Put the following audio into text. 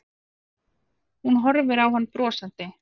Hún horfir á hann brosandi.